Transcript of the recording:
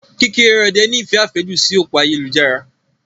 Kekereode ní ìfẹ́ àfẹ́jù sí òpó ayélujára.